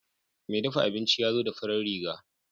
Mai dafa abinci yazo da farar riga.